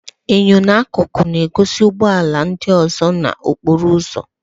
Enyo n'akụkụ na-egosi ụgbọ ala ndị ọzọ n'okporo ụzọ.